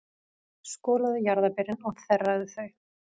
Skolaðu jarðarberin og þerraðu þau.